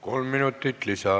Kolm minutit lisaaega.